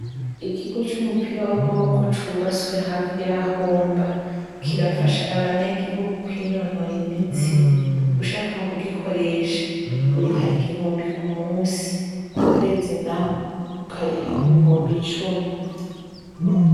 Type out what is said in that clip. Ikigo c'umupira w'amaboko cubatswe hafi y'aho mba kirafasha abanyagihugu kwinonora imitsi. Ushaka kugikoresha uriha igihumbi kumusi. Kukwezi naho ukariha ibihumbi icumi.